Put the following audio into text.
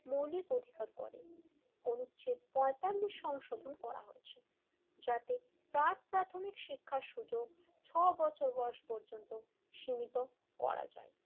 মৌলিক অধিকার করে অনুচ্ছেদ পইন্তালিস সংশোধন করা হয়েছে যাতে পার্ক প্রাথমিক শিক্ষার সুযোগ ছয় বছর বয়স পর্যন্ত সীমিত করা যায় l